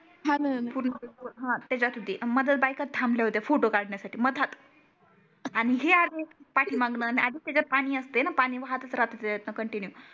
हा त्याचात होते मंधात बायका थामल्या होत्या फोटो कडण्यासाठी मंधात आणि हे आले पाटी मागन आदीच त्याचात पानी असते णा पानी वाहातच रहातो त्याचातन कंटिन्यू